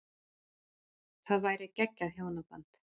Það væri geggjað hjónaband.